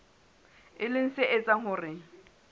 e leng se etsang hore